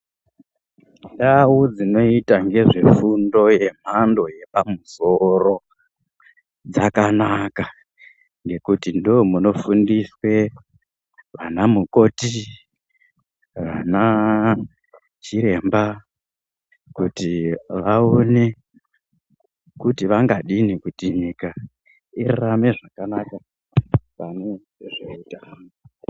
Ndau dzinoita ngezvefundo yemhando yepamusoro dzakanaka ngekuti ndoomunofundiswe vana mukoti vanachiremba kuti vaone kuti vangadini kuti nyika irarame zvakanaka pane zveutano.